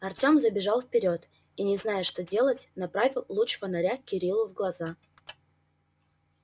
артём забежал вперёд и не зная что делать направил луч фонаря кириллу в глаза